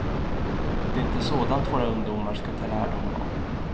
Det är inte sådant våra ungdomar ska ta lärdom av.